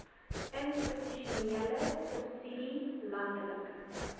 institusionele subsidie landelike